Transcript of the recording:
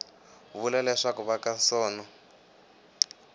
vula leswaku va ka sono